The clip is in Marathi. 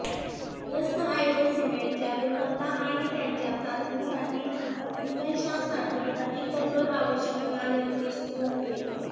दस्तऐवज सीमेंटच्या गुणवत्ता आणि त्याच्या चाचणीसाठी निकषांसाठी अधिक कठोर आवश्यकता निर्दिष्ट करते